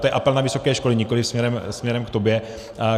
To je apel na vysoké školy, nikoliv směrem k tobě.